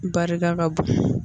Barika ka bon